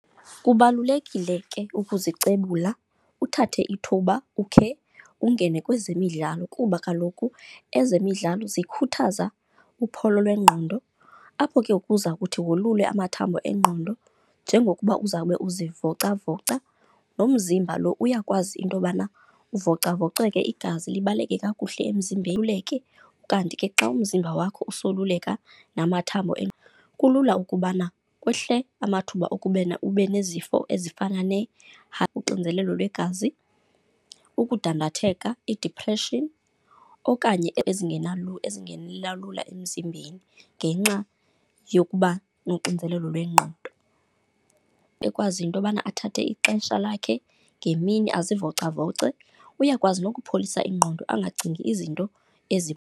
Kubalulekile ke ukuzicebula uthathe ithuba ukhe ungene kwezemidlalo kuba kaloku ezemidlalo zikhuthaza uphOlo lwengqondo, apho ke ukuza kuthi wolule amathambo engqondo. Njengokuba uzawube uzivocavoca nomzimba lo uyakwazi into yobana uvocavoceke, igazi libaleke kakuhle emzimbeni . Kanti ke xa umzimba wakho usoluleka namathambo , kulula ukubana kwehle amathuba okuba ube nezifo ezifana ne , uxinzelelo lwegazi, ukudandatheka, idipreshini okanye ezingenela lula emzimbeni ngenxa yokuba nonxinzelelo lwengqondo. Ekwazi into yobana athathe ixesha lakhe ngemini azivocavoce, uyakwazi nokupholisa ingqondo angacingi izinto .